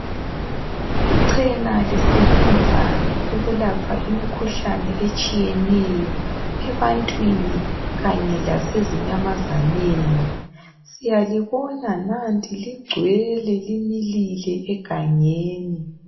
Iqhena lisebenza ukulapha imikhuhlane etshiyeneyo ebantwini kanye asezinyamazaneni siyalibona nanti ligcwele limilile egangeni.